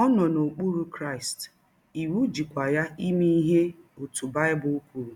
Ọ nọ n’okpụrụ Krịsti, iwụ jịkwa ya ime ihe ọtụ Baịbụl kwụrụ